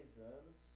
anos.